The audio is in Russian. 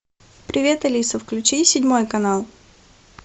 привет алиса включи седьмой канал